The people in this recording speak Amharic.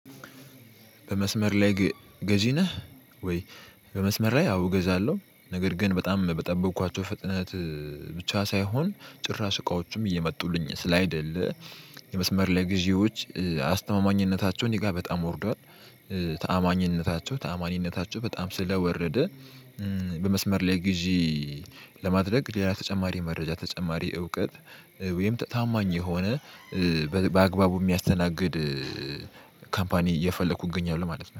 በመስመር ላይ ገዢ ነህ ወይ? በመስመር ላይ አዎ እገዛለሁ ነገር ግን በጣም በጠበኳቸው ፍጥነት ብቻ ሳይሆን ጭራ እቃዎችም እየመጡልኝ ስላልሆነ የመስመር ላይ ግዢዎች አስተማማኝነታቸውን እኔጋ በጣም ወርዷል። ታማኝነታቸው ታማኝነታቸው በጣም ስለወረደ። በመስመር ላይ ግዢ ለማድረግ ደህና ተጨማሪ መረጃ ተጨማሪ እውቀት ወይም ታማኝ የሆነ በአግባቡ የሚያስተናግድ ካምፓኒ እየፈለኩ እገኛለሁ። ማለት ነው